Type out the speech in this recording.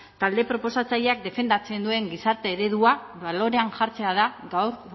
talde proposatzaileak defendatzen duen gizarte eredua balorean jartzea da gaur